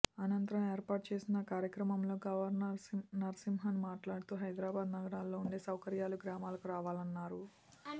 అనంతరం ఏర్పాటు చేసిన కార్యక్రమంలో గవర్నర్ నరసింహన్ మాట్లాడుతూ హైదరాబాద్ నగారాల్లో ఉండే సౌకర్యాలు గ్రామాలకు రావాలన్నారు